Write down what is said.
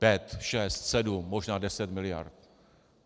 Pět, šest, sedm, možná deset miliard.